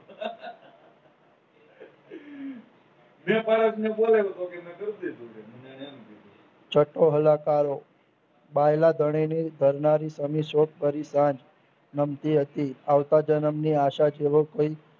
જુટહલા કારો ભાયલા ધણીની ધરમારી તેની શોધ કરી જાણ નમતી હતી આવતા જન્મની આશા તેઓ કોઈ